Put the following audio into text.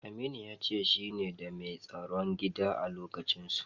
Aminu ya ce shine da mai tsaron gida a lokacinsu.